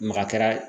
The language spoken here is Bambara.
Maka kɛra